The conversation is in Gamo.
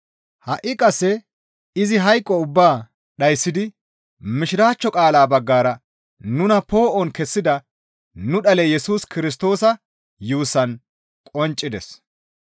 Ha7i qasse izi hayqo ubbaa dhayssidi mishiraachcho qaalaa baggara nuna poo7on kessida nu dhale Yesus Kirstoosa yuussaan qonccides.